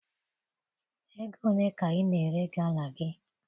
Ego ole ka ị na-ere gala gị?